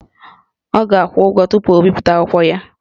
Ọ ga-akwụ ụgwọ tupu o bipụta akwụkwọ ya